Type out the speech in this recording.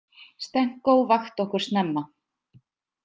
Stenko vakti okkur snemma.